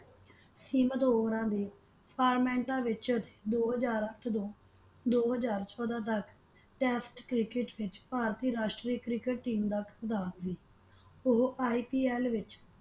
ਸੀਮਤ ਓਵਰਾਂ ਦੇ ਫਾਰਮੈਂਟਾਂ ਵਿੱਚ ਦੋ ਹਜ਼ਾਰ ਅੱਠ ਤੋਂ ਦੋ ਹਜ਼ਾਰ ਚੋਦਾਂ ਤੱਕ Test ਕ੍ਰਿਕਟ ਵਿੱਚ ਭਾਰਤੀ ਰਾਸ਼ਟਰੀ ਕ੍ਰਿਕਟ ਟੀਮ ਦਾ ਕਪਤਾਨ ਸੀ ਉਹ IPL ਵਿੱਚ।